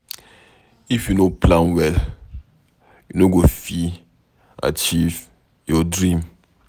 If you no plan well, you no go fit achieve your dream